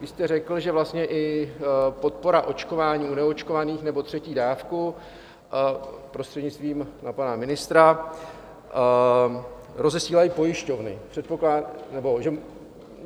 Vy jste řekl, že vlastně i podpora očkování u neočkovaných, nebo třetí dávku, prostřednictvím na pana ministra, rozesílají pojišťovny.